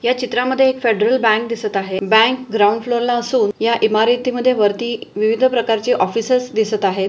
या चित्रा मध्ये एक फेडरल बँक दिसत आहे बँक ग्राऊंड फ्लोर ला असून या इमारती मध्ये वरती विविध प्रकारचे ऑफिसेस दिसत आहे.